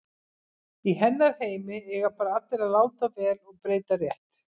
Í hennar heimi eiga bara allir að láta vel og breyta rétt.